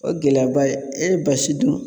O gɛlɛyaba ye e ye basi dun